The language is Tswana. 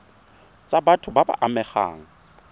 tsa batho ba ba amegang